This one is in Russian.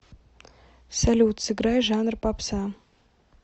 салют сыграй жанр попса